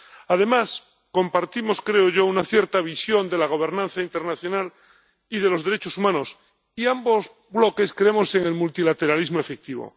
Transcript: Además, compartimos —creo yo— una cierta visión de la gobernanza internacional y de los derechos humanos, y ambos bloques creemos en el multilateralismo efectivo.